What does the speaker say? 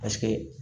Paseke